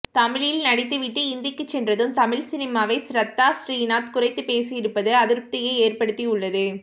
தமிழில் நடித்துவிட்டு இந்திக்கு சென்றதும் தமிழ் சினிமாவை ஷ்ரத்தா ஸ்ரீநாத் குறைத்து பேசி இருப்பது அதிருப்தியை ஏற்படுத்தி உள்ளது